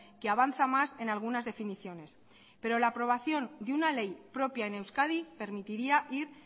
que avanza más en algunas definiciones pero la aprobación de una ley propia en euskadi permitiría ir